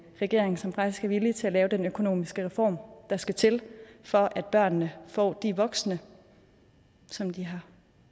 regering som faktisk er villig til at lave den økonomiske reform der skal til for at børnene får de voksne som de har